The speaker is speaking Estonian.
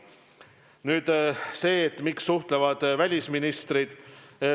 Nüüd sellest, miks suhtlevad välisministrid.